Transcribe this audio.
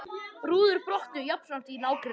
Rúður brotnuðu jafnframt í nágrenninu